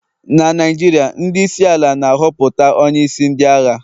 na Naijiria, ndị isi ala na-ahọpụta onye isi ndị agha